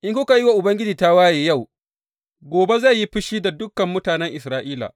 In kuka yi wa Ubangiji tawaye yau, gobe zai yi fushi da dukan mutanen Isra’ila.